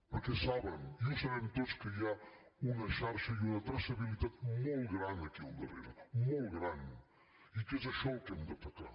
perquè saben i ho sabem tots que hi ha una xarxa i una traçabilitat molt gran aquí al darrere molt gran i que és això el que hem d’atacar